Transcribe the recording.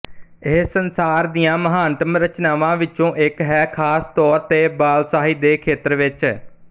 ਇਹ ਸੰਸਾਰ ਦੀਆਂ ਮਹਾਨਤਮ ਰਚਨਾਵਾਂ ਵਿੱਚੋਂ ਇੱਕ ਹੈ ਖਾਸ ਤੌਰ ਤੇ ਬਾਲਸਾਹਿਤ ਦੇ ਖੇਤਰ ਵਿੱਚ